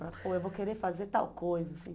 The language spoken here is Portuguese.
Falava, pô, eu vou querer fazer tal coisa, assim.